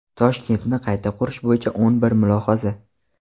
Toshkentni qayta qurish bo‘yicha o‘n bir mulohaza.